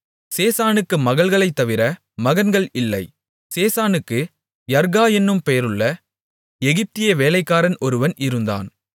சேசானுக்கு மகள்களைத் தவிர மகன்கள் இல்லை சேசானுக்கு யர்கா என்னும் பெயருள்ள எகிப்திய வேலைக்காரன் ஒருவன் இருந்தான்